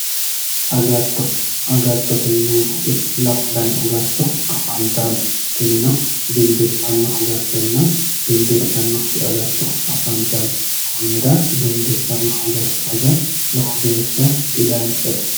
agatto agatto yaa lamu dani agatto afantanno tino dimbissannonna dimbissannokki agatto afantanno kunnira dimbissanno agatto aga lowo geeshsha didanchate